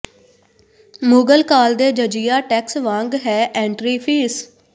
ਮੁਗਲ ਕਾਲ ਦੇ ਜਜੀਆ ਟੈਕਸ ਵਾਂਗ ਹੈ ਐਂਟਰੀ ਫੀਸ